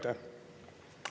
Teie aeg!